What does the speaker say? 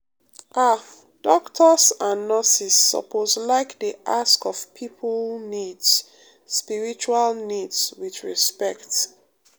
ah doctors and nurses suppose like dey ask of people needs spiritual needs with respect.